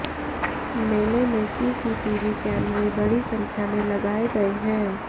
मेले में CCTV camera बड़ी संख्या में लगाए गए हैं